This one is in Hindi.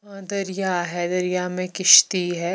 और दर्रिया है दर्रिया में किस्ती है।